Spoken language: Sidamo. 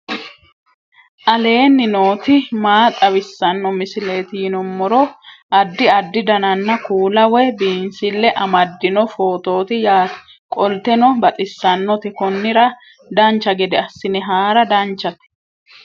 aleenni nooti maa xawisanno misileeti yinummoro addi addi dananna kuula woy biinsille amaddino footooti yaate qoltenno baxissannote konnira dancha gede assine haara danchate